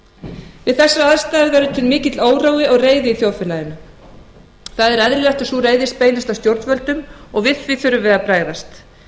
sínar við þessar aðstæður verður til mikill órói og reiði í þjóðfélaginu það er eðlilegt að sú reiði beinist að stjórnvöldum og við því þurfum við að bregðast